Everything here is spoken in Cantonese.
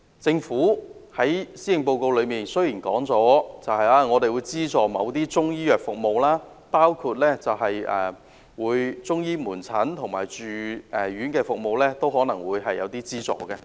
政府在施政報告中表示，將會資助某些中醫藥服務，包括向中醫門診及住院服務提供資助。